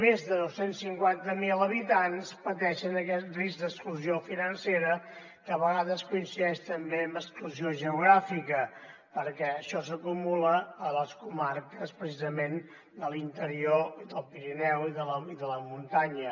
més de dos cents i cinquanta miler habitants pateixen aquest risc d’exclusió financera que a vegades coincideix també amb exclusió geogràfica perquè això s’acumula a les comarques precisament de l’interior i del pirineu i de la muntanya